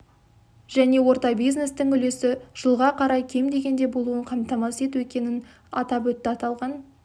және орта бизнестің үлесі жылға қарай кем дегенде болуын қамтамасыз ету екенін атап өтті аталған